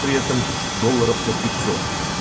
при этом доллоров на пятьсот